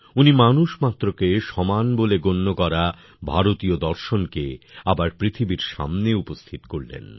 উনি মানুষমাত্রকে সমান বলে গণ্য করা ভারতীয় দর্শনকে আবার পৃথিবীর সামনে উপস্থিত করলেন